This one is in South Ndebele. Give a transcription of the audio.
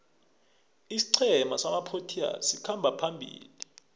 isiqhema samaproteas sikhamba phambili